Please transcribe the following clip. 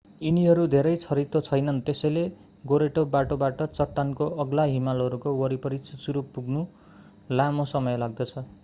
यिनीहरू धेरै छरितो छैनन् त्यसैले गोरेटो बाटोबाट चट्टानको अग्ला हिमालहरूको वरिपरि चुचुरो पुग्न लामो समय लाग्दछ